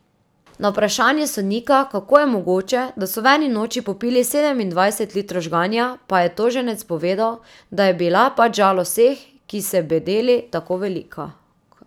Na vprašanje sodnika, kako je mogoče, da so v eni noči popili sedemindvajset litrov žganja, pa je toženec povedal, da je bila pač žalost vseh, ki se bedeli, tako velika.